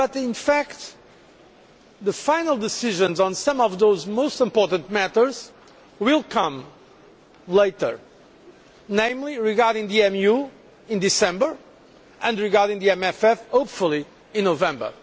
In fact, though, the final decisions on some of those most important matters will come later, namely regarding the EMU in December and regarding the MFF, hopefully, in November.